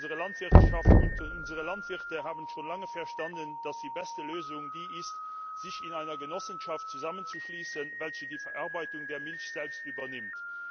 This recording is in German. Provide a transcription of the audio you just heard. Unsere Landwirtschaft und unsere Landwirte haben schon lange verstanden, dass es die beste Lösung ist, sich in einer Genossenschaft zusammenzuschließen, welche die Verarbeitung der Milch selbst übernimmt.